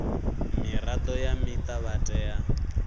mirado ya muta vha tea